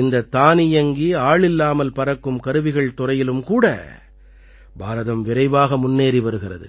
இந்தத் தானியங்கி ஆளில்லாமல் பறக்கும் கருவிகள் துறையிலும் கூட பாரதம் விரைவாக முன்னேறி வருகிறது